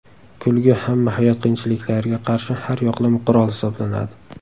Kulgu hamma hayot qiyinchiliklariga qarshi har yoqlama qurol hisoblanadi.